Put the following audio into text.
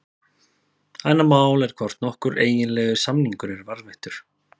Annað mál er hvort nokkur eiginlegur samningur er varðveittur.